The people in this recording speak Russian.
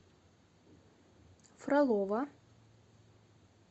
фролово